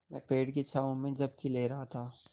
मैं पेड़ की छाँव में झपकी ले रहा था